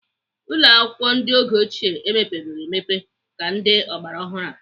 Ụlọakwụkwọ ndị oge ochie emepeghị emepe ka ndị ọgbaraọhụrụ a.